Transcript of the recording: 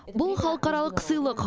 бұл халықаралық сыйлық